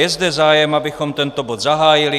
Je zde zájem, abychom tento bod zahájili.